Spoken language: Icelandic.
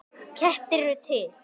Kettir eru til